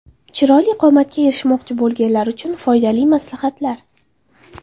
Chiroyli qomatga erishmoqchi bo‘lganlar uchun foydali maslahatlar.